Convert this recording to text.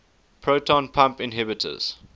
proton pump inhibitors